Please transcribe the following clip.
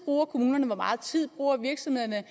kommunerne bruger hvor meget tid virksomhederne